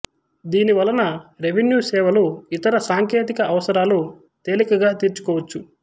దీని వలన రెవిన్యూ సేవలు ఇతర సాంకేతిక అవసరాలు తేలికగా తీర్చుకోవచ్చు